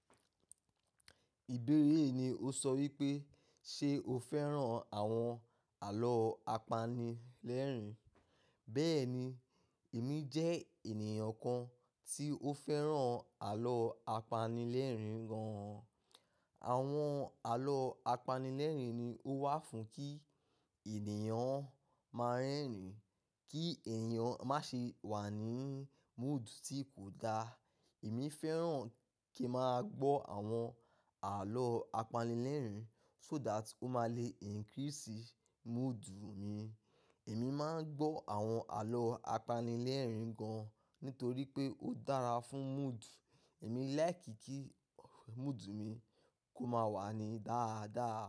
Ìbéèrè ni o sọ wípé ṣe o fẹ́ràn àwọn àlọ́ apanilẹ́rìn. Bẹ́ẹ̀ni, èmi jẹ́ ènìyàn kan tí ó fẹ́ràn àlọ́ apanilẹ́rìn gan-an. Àwọn àlọ́ apanilẹ́rìn ni ó wà fún kí ènìyàn máa rẹ́rìn, kí ènìyàn má ṣe wà ní mood tí kò da. Èmi fẹ́ràn kí n máa gbọ́ àwọn àlọ́ apanilẹ́rìn so that ó máa le increase mood mi. Èmi máa ń gbọ́ àwọn àlọ́ apanilẹ́rìn gan-an nítorí pé ó dára fún mood. Èmi like kí mood mi kó máa wà ní dáadáa.